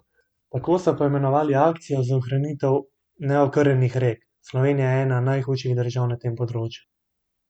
Tako so poimenovali akcijo za ohranitev neokrnjenih rek: 'Slovenija je ena najhujših držav na tem področju.